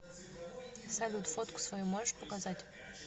салют фотку свою можешь показать